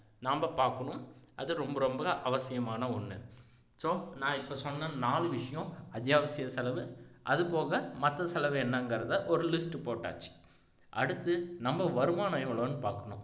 நாம பாக்கணும் அது ரொம்ப ரொம்ப அவசியமான ஒண்ணு so நான் இப்போ சொன்ன நாலு விஷயம் அத்தியாவசிய செலவு அது போக மத்த செலவு என்னங்கறத ஒரு list போட்டாச்சு அடுத்து நம்ம வருமானம் எவ்வளவுன்னு பாக்கணும்